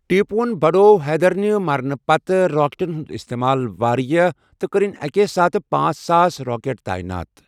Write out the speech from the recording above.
ٹیپون بڑوٚوحیدرنہِ مرنہٕ پتہٕ راکٹن ہُنٛد استعمال واریاہ ، تہٕ کٔرِن اکی ساتہٕ پانژھ ساس راکیٹ تٔعینات۔